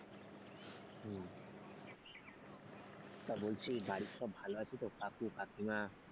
তা বলছি বাড়ির সব ভালো আছে তো কাকু কাকিমা?